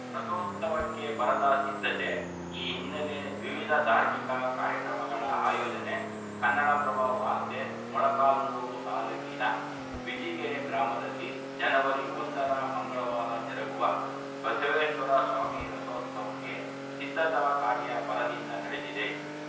ರಥೋತ್ಸವಕ್ಕೆ ಬರದ ಸಿದ್ಧತೆ ಈ ಹಿನ್ನೆಲೆ ವಿವಿಧ ಧಾರ್ಮಿಕ ಕಾರ್ಯಕ್ರಮಗಳ ಆಯೋಜನೆ ಕನ್ನಡ ಪ್ರಭ ವಾರ್ತೆ ಮೊಳಕಾಲ್ಮುರು ತಾಲೂಕಿನ ಬಿಜಿಕೆರೆ ಗ್ರಾಮದಲ್ಲಿ ಜನವರಿ ಒಂದರ ಮಂಗಳವಾರ ಜರುಗುವ ಬಸವೇಶ್ವರಸ್ವಾಮಿ ರಥೋತ್ಸವಕ್ಕೆ ಸಿದ್ಧತಾ ಕಾರ್ಯ ಭರದಿಂದ ನಡೆದಿದೆ